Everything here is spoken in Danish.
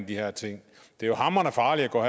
de her ting det er hamrende farligt at gå